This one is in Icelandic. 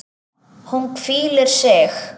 Hún hvílir sig.